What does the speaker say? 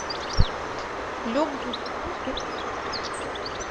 люк бессон фильмография